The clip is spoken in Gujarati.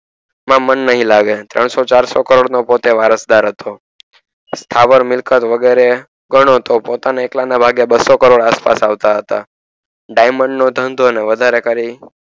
સુરત માં મન નય લાગે તણસો ચારસો કરોડ નો પોતે વારસદાર હતો મિલકત ગણોતો પોતાના ને એકલા ના ભાગે બસો કરોડ આસપાસ આવતા હતા diamond નો ધંધો અને વધારે